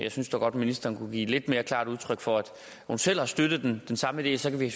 jeg synes dog godt ministeren kunne give lidt klarere udtryk for at hun selv har støttet den samme idé så kan vi